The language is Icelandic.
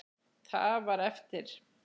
Það var eftir.